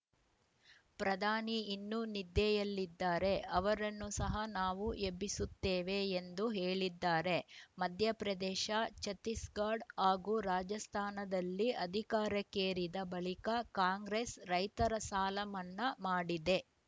ಪ್ರಧಾನಿ ಇನ್ನೂ ನಿದ್ದೆಯಲ್ಲಿದ್ದಾರೆ ಅವರನ್ನು ಸಹ ನಾವು ಎಬ್ಬಿಸುತ್ತೇವೆ ಎಂದು ಹೇಳಿದ್ದಾರೆ ಮಧ್ಯಪ್ರದೇಶ ಛತ್ತೀಸ್‌ಗಡ್ ಹಾಗೂ ರಾಜಸ್ಥಾನದಲ್ಲಿ ಅಧಿಕಾರಕ್ಕೇರಿದ ಬಳಿಕ ಕಾಂಗ್ರೆಸ್‌ ರೈತರ ಸಾಲಮನ್ನಾ ಮಾಡಿದೆ